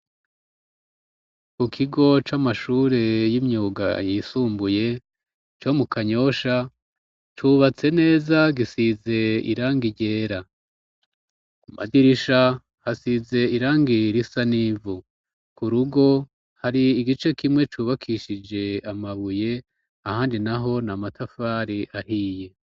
Ku kigo c'amashure y'imyuga yisumbuye co mu kanyosha cubatse neza gisize iranga iryera madirisha hasize irangir isa n'ivu ku rugo hari igice kimwe cubakishije amabuye ahandi na ho na matafari ahiye.